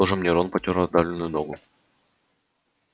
тоже мне рон потёр отдавленную ногу